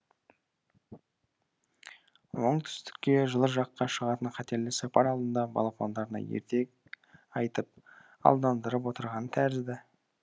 оңтүстікке жылы жаққа шығатын қатерлі сапар алдында балапандарына ертек айтып алдандырып отырған тәрізді